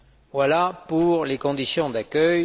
Voilà pour les conditions d'accueil.